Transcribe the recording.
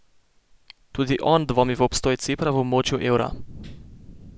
Tudi on dvomi v obstoj Cipra v območju evra.